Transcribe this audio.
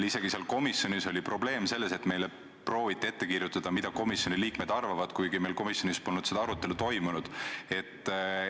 Komisjonis oli probleem isegi selles, et meile prooviti ette kirjutada, mida komisjoni liikmed arvavad, kuigi meil polnud komisjonis seda arutelu toimunudki.